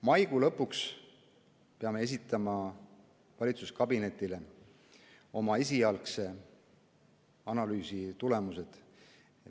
Maikuu lõpuks peame esitama valitsuskabinetile oma esialgse analüüsi tulemused.